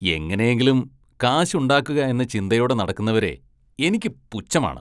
എങ്ങനെയെങ്കിലും കാശുണ്ടാക്കുകയെന്ന ചിന്തയോടെ നടക്കുന്നവരെ എനിക്ക് പുച്ഛമാണ്.